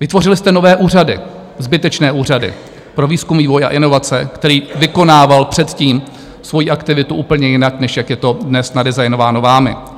Vytvořili jste nové úřady, zbytečné úřady, pro výzkum, vývoj a inovace, který vykonával předtím svoji aktivitu úplně jinak, než jak je to dnes nadesignováno vámi.